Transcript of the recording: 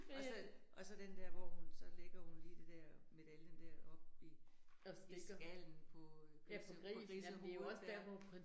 Og så, og så den der, hvor hun, så lægger hun lige det der medaljen der oppe i i skallen på øh på grisehovedet ja